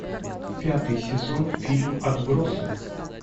пятый сезон фильм отбросы